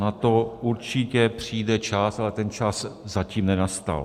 Na to určitě přijde čas, ale ten čas zatím nenastal.